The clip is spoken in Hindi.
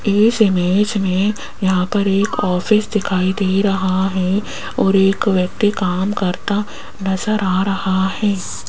इस इमेज में यहां पर एक ऑफिस दिखाई दे रहा है और एक व्यक्ति काम करता नजर आ रहा है।